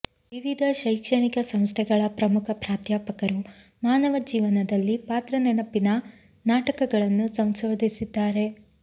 ವಿವಿಧ ಶೈಕ್ಷಣಿಕ ಸಂಸ್ಥೆಗಳ ಪ್ರಮುಖ ಪ್ರಾಧ್ಯಾಪಕರು ಮಾನವ ಜೀವನದಲ್ಲಿ ಪಾತ್ರ ನೆನಪಿನ ನಾಟಕಗಳನ್ನು ಸಂಶೋಧಿಸಿದ್ದಾರೆ